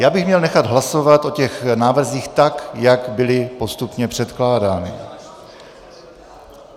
Já bych měl nechat hlasovat o těch návrzích tak, jak byly postupně předkládány.